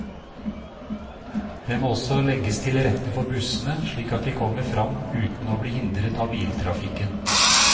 Det må også legges til rette for bussene, slik at de kommer frem uten å bli hindret av biltrafikken.